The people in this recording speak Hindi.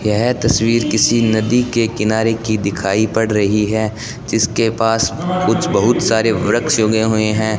यह तस्वीर किसी नदी के किनारे की दिखाई पड़ रही है जिसके पास कुछ बहोत सारे वृक्ष उगे हुए है।